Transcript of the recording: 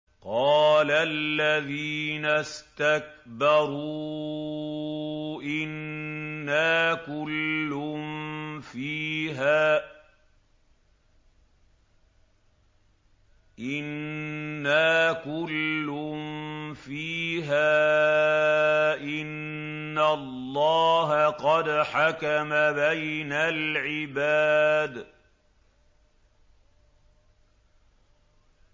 قَالَ الَّذِينَ اسْتَكْبَرُوا إِنَّا كُلٌّ فِيهَا إِنَّ اللَّهَ قَدْ حَكَمَ بَيْنَ الْعِبَادِ